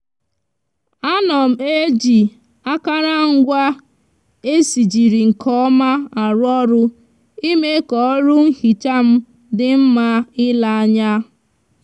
a no m eji akarangwa esijiri nke oma aru oru ime ka oru nhicha m di nma ile anya